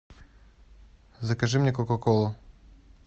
закажи мне кока колу